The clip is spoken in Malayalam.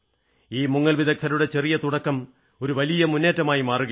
ഈ മുങ്ങൽ വിദഗ്ധരുടെ ചെറിയ തുടക്കം ഒരു വലിയ മുന്നേറ്റമായി മാറുകയാണ്